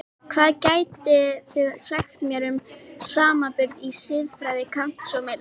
Hvað getið þið sagt mér um samanburð á siðfræði Kants og Mills?